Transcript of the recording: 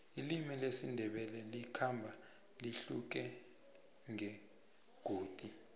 ilimi lesindebele likhamba lihluke ngengodi